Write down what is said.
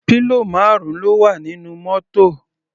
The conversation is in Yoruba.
Pillow marun ló wà nínú mótò.